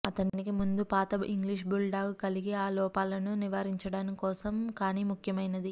అతనికి ముందు పాత ఇంగ్లీష్ బుల్ డాగ్ కలిగి ఆ లోపాలను నివారించడానికి కోసం కానీ ముఖ్యమైనది